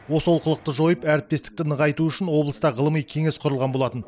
осы олқылықты жойып әріптестікті нығайту үшін облыста ғылыми кеңес құрылған болатын